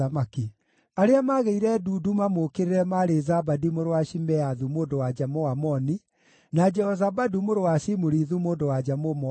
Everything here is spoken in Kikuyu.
Arĩa maagĩire ndundu mamũũkĩrĩre maarĩ Zabadi mũrũ wa Shimeathu mũndũ-wa-nja Mũamoni, na Jehozabadu mũrũ wa Shimurithu mũndũ-wa-nja Mũmoabi.